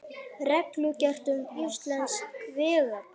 Reglugerð um íslensk vegabréf.